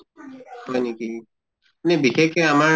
হয় নেকি? এনে বিশেষকে আমা